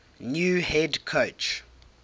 new head coach